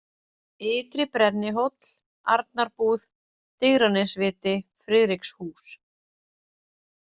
Ytri-Brennihóll, Arnarbúð, Digranesviti, Friðrikshús